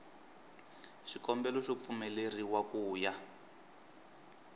xikombelo xo pfumeleriwa ku ya